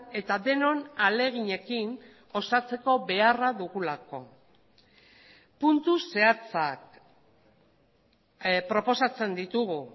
eta denon ahaleginekin osatzeko beharra dugulako puntu zehatzak proposatzen ditugu